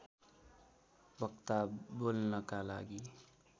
वक्ता बोल्नका लागि